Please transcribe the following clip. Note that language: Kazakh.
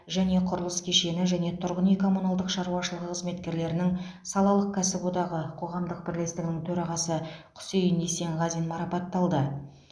және құрылыс кешені және тұрғын үй коммуналдық шаруашылығы қызметкерлерінің салалық кәсіподағы қоғамдық бірлестігінің төрағасы құсейін есенғазин марапатталды